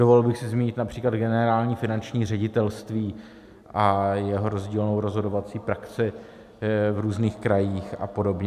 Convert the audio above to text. Dovolil bych si zmínit například Generální finanční ředitelství a jeho rozdílnou rozhodovací praxi v různých krajích a podobně.